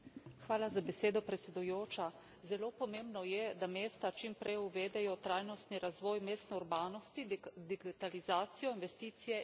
Zelo pomembno je, da mesta čim prej uvedejo trajnostni razvoj mestne urbanosti, digitalizacijo, investicije in inovacije v mestnem prometu.